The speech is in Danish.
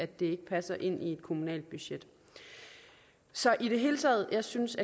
det ikke passer ind i et kommunalt budget så i det hele taget synes